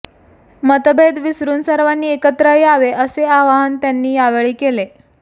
मतभेद विसरून सर्वांनी एकत्र यावे असे आवाहन त्यांनी यावेळी केले